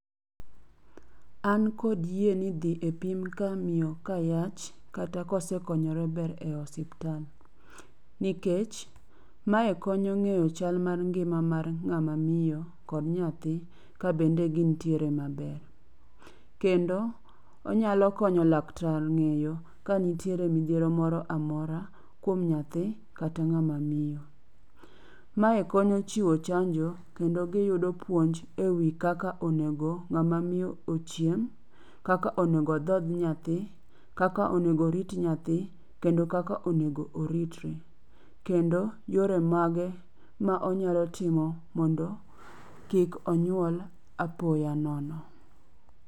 An kod yie ni dhi epim ka miyo kayach kata kosekonyore ber e osiptal nikech mae konyo ng'eyo chal mar ng'ama miyo kod nyathi kabende gintiere maber. Kendo onyalo konyo laktar ng'eyo kanitie midhiero moro amora kuom nyathi kata ng'ama miyo. Mae konyo chiwo chanjo kendo giyudo puonj ewi kaka onego ng'ama miyo ochiem, kaka onego odhodh nyathi, kaka onego orit nyathi kendo kaka onego oritre. Kendo yore mage ma onyalo timo mondo kik onyuol apoya nono.